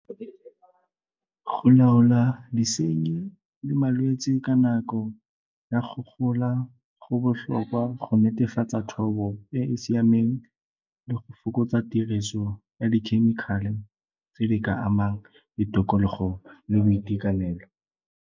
Go laola disenyi le malwetse ka nako ya go gola go botlhokwa go netefatsa thobo e e siameng le go fokotsa tiriso ya di-chemical-e tse di ka amang ditikologo le boitekanelo.